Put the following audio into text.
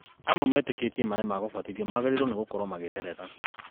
Amwe metĩkĩtie maaĩ ma gũbatithia magĩrĩirwo gũkorwo magĩtherera